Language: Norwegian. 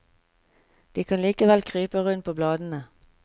De kan likevel krype rundt på bladene.